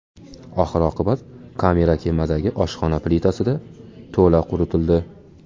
Oxir-oqibat, kamera kemadagi oshxona plitasida to‘la quritildi.